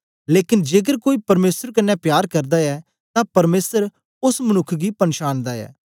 लेकन जेकर कोई परमेसर कन्ने प्यार करदा ऐ तां परमेसर ओस मनुक्ख गी पनछांनदा ऐ